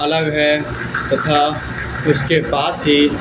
अलग है तथा उसके पास ही--